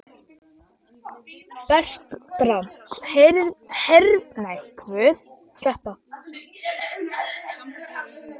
Bertram, heyrðu í mér eftir þrjátíu og fjórar mínútur.